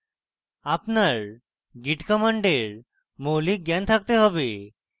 আপনার git commands মৌলিক জ্ঞান থাকতে have